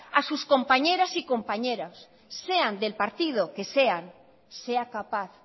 a sus compañeras y compañeros sean del partido que sean sea capaz